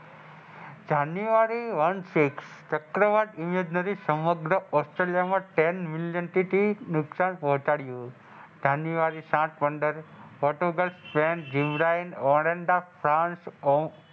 જાન્યુઆરી one six ચક્રવાત યોજના થી સમગ્ર Australia માં ten million થી નુકસાન પહોચાડયુ જાન્યુઆરી સાત પંદર ઓટો ગર્લ્સ સ્પેન્ડ જીવડાયે અઓરંડા ફર્નાસ ઓમ,